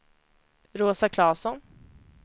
Rosa Claesson